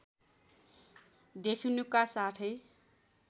देखिनुका साथै